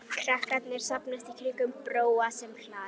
Krakkarnir safnast í kringum Bróa sem hlær.